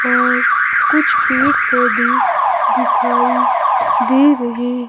और कुछ पेड़ पौधे दिखाई दे रहे--